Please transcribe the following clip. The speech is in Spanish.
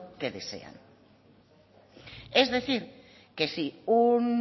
que desean es decir que si un